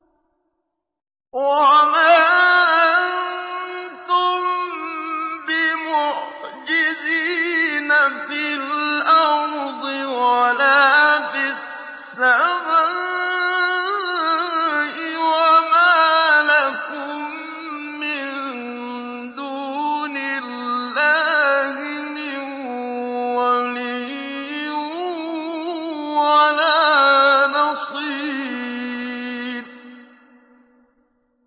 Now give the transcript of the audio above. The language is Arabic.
وَمَا أَنتُم بِمُعْجِزِينَ فِي الْأَرْضِ وَلَا فِي السَّمَاءِ ۖ وَمَا لَكُم مِّن دُونِ اللَّهِ مِن وَلِيٍّ وَلَا نَصِيرٍ